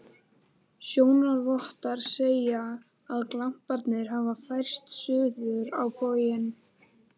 Sjónarvottar segja, að glamparnir hafi færst suður á bóginn.